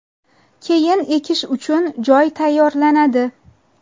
Keyin ekish uchun joy tayyorlanadi.